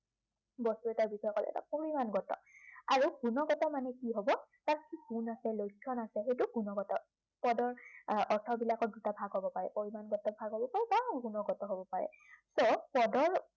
বস্তু এটাৰ বিষয়ে মানে পৰিমাণগত। আৰু গুণগত মানে কি হ'ব তাৰ কি গুণ আছে, লক্ষণ আছে সেইটো গুণগত। পদৰ আহ অৰ্থবিলাকৰ দুটা ভাগ হ'ব পাৰে পৰিমাণগত বা গুণগত হ'ব পাৰে। এক পদৰ